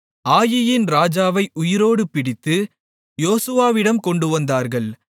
ஆயீயின் ராஜாவை உயிரோடு பிடித்து யோசுவாவிடம் கொண்டுவந்தார்கள்